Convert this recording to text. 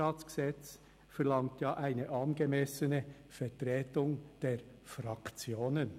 Das GRG verlangt ja eine angemessene Vertretung der Fraktionen.